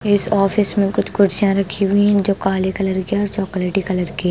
इस ऑफिस में कुछ कुर्सियां रखी हुई हैं जो काले कलर की और चॉकलेट कलर की--